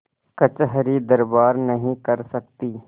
कचहरीदरबार नहीं कर सकती